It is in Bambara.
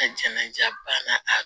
jɛnnaja banna